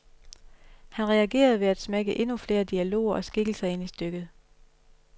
Han reagerede ved at smække endnu flere dialoger og skikkelser ind i stykket.